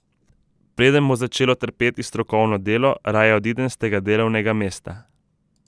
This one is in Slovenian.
Preden bo začelo trpeti strokovno delo, raje odidem s tega delovnega mesta.